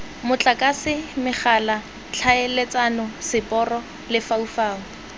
motlakase megala tlhaeletsano seporo lefaufau